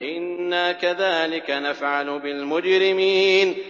إِنَّا كَذَٰلِكَ نَفْعَلُ بِالْمُجْرِمِينَ